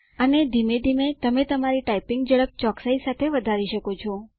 અને ધીમે ધીમે તમે તમારી ટાઈપીંગ ઝડપ ચોકસાઈ સાથે વધારી શકો છો